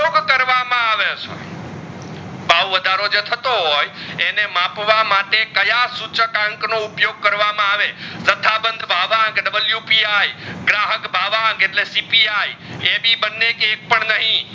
ભાવ વધારો જો થતો હોય એને માપવા માટે કયા સૂચક અંક નો ઉપયોગ કરવામાં આવે તથા બંધ ભવ કે WPI ગ્રાહક ભવાંગ એટલે કે CPI ટેભી બંને કસે પર નહીં